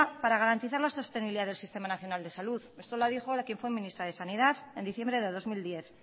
para garantizar la sostenibilidad del sistema nacional de salud eso lo dijo la que fue ministra de sanidad en diciembre de dos mil diez